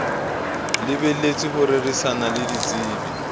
lebelletswe ho rerisana le ditsebi